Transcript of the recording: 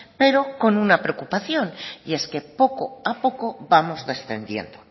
pero con una preocupación y es que poco a poco vamos descendiendo